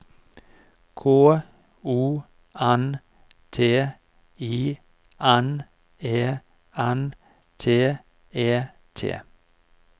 K O N T I N E N T E T